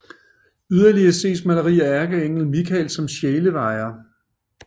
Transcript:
Yderligere ses maleri af ærkeenglen Michael som sjælevejer